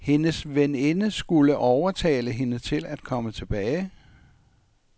Hendes veninde skulle overtale hende til at komme tilbage.